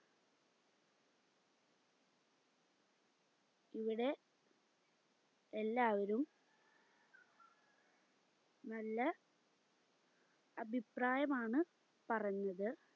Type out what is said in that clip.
ഇവിടെ എല്ലാവരും നല്ല അഭിപ്രായമാണ് പറഞ്ഞത്